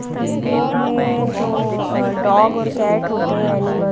इस तस्वीर में जो अह डॉग और कैट होते हैं एनिमल --